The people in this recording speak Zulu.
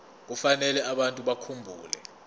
kufanele abantu bakhumbule